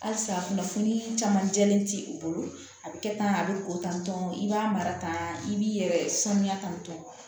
Halisa kunnafoni caman jɛlen ti u bolo a bɛ kɛ tan a bɛ ko tantɔ i b'a mara tan i b'i yɛrɛ sanuya tantɔ